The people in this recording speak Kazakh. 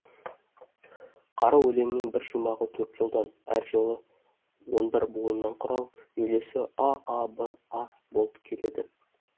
қара өлеңнің бір шумағы төрт жолдан әр жолы он бір буыннан құралып үйлесі а а б а болып келеді